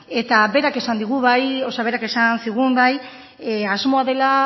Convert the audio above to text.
eta berak esan digu bai berak esan zigun bai asmoa dela